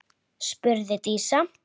spurði Dísa.